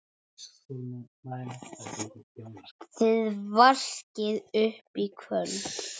Þið vaskið upp í kvöld